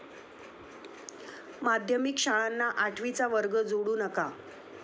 माध्यमिक शाळांना आठवीचा वर्ग जोडू नका!